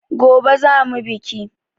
Gobe za mu biki.